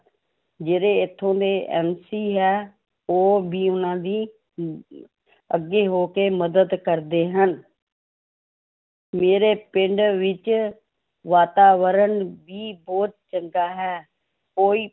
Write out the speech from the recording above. ਜਿਹੜੇ ਇੱਥੋਂ ਦੇ MC ਹੈ, ਉਹ ਵੀ ਉਹਨਾਂ ਦੀ ਅਮ ਅੱਗੇ ਹੋ ਕੇ ਮਦਦ ਕਰਦੇ ਹਨ ਮੇਰੇ ਪਿੰਡ ਵਿੱਚ ਵਾਤਾਵਰਨ ਵੀ ਬਹੁਤ ਚੰਗਾ ਹੈ, ਕੋਈ